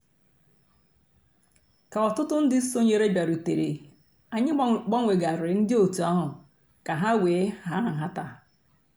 kà òtùtù ńdí sọǹyèrè bịàrùtèrè ànyị̀ gbanwèghàrìrì ńdí ọ̀tù àhụ̀ kà hà wée hà nhátà.